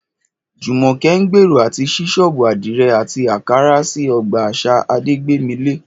Jùmọ̀kẹ́ ń gbèrò àti ṣí ṣọ́ọ̀bù àdìrẹ àti ààkárá sí ọgbà àṣà Adégbémilé